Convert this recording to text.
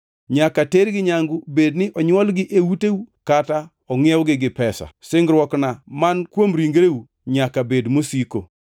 Nyaka tergi nyangu bedni onywolgi e uteu kata ongʼiewogi gi pesa. Singruokna man kuom ringreu nyaka bed mosiko.